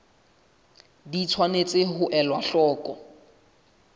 di tshwanetse ho elwa hloko